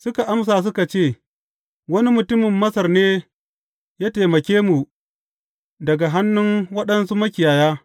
Suka amsa suka ce, Wani mutumin Masar ne ya taimake mu daga hannun waɗansu makiyaya.